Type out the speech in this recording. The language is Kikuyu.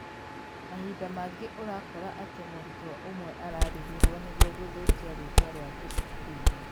mahinda mangĩ ũrakora atĩ mũrutwo ũmwe araarĩrĩrwo nĩguo gũthũkia rĩtwa riake cukuru-inĩ.0